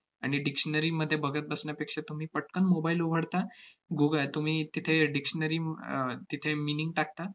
आणि dictionary मध्ये बघत बसण्यापेक्षा तुम्ही पटकन mobile उघडता, गूग~ तुम्ही तिथे dictionary आह तिथे meaning टाकता,